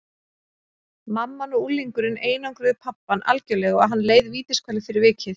Mamman og unglingurinn einangruðu pabbann algjörlega og hann leið vítiskvalir fyrir vikið.